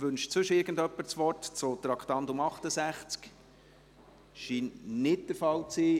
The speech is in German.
Wünscht sonst jemand das Wort zu Traktandum 68? – Das scheint nicht der Fall zu sein.